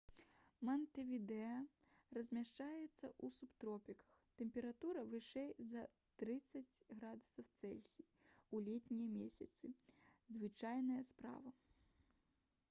мантэвідэа размяшчаецца ў субтропіках: тэмпература вышэй за + 30°c у летнія месяцы — звычайная справа